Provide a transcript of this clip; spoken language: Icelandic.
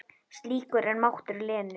Slíkur er máttur Lenu.